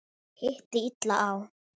Hitti illa á.